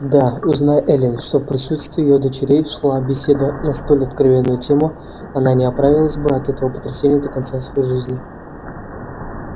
да узнай эллин что в присутствии её дочерей шла беседа на столь откровенную тему она не оправилась бы от этого потрясения до конца своей жизни